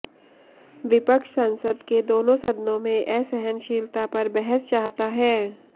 विपक्ष संसद के दोनों सदनों में असहनशीलता पर बहस चाहता है